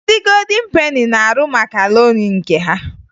Ndị Godin Peni na-arụ makaroni nke ha